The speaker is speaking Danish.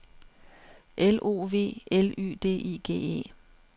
L O V L Y D I G E